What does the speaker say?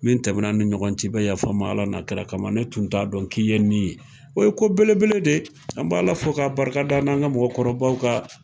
Min tɛmɛnan an ni ɲɔgɔn cɛ i bɛ yafa n ma Ala n'a kira kama . Ne tun t'a dɔn k'i ye nin ye o ye ko belebele de ye. An b'ala fo ka barika da n'an ka mɔgɔkɔrɔbaw ka .